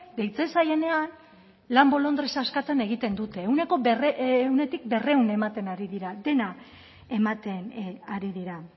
deitzen zaienean lan bolondresa eskatzen egiten dute ehunetik berrehun ematen ari dira dena ematen ari dira